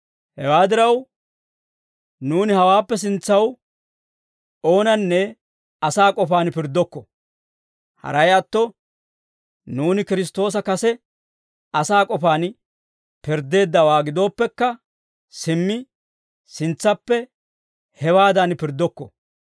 Hewaa diraw, nuuni hawaappe sintsaw oonanne asaa k'ofaan pirddokko; haray atto, nuuni Kiristtoosa kase asaa k'ofaan pirddeeddawaa gidooppekka, simmi sintsappe hewaadan pirddokko.